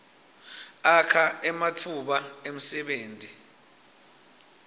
akha ematfuba emsebenti